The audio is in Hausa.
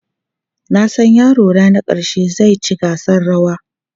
Na san yarona na ƙarshe zai ci gasar rawa.